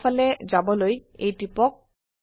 বাও ফালে যাবলৈ A টিপক